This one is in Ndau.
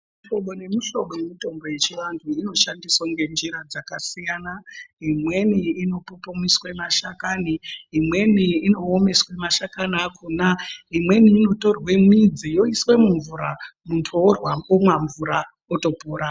Hlobo nemihlobo yemitombo yechivantu inoshandiswa ngenjira dzakasiyana imweni inopupumiswa mashakani imweni inoomeswa mashakani akhona imweni inotorwa midzi yoiswe mumvura muntu otora omwa mvura.